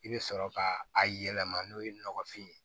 I bɛ sɔrɔ ka a yɛlɛma n'o ye nɔgɔfin ye